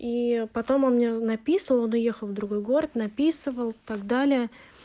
и потом он мне написывал он уехал в другой город написывал так далее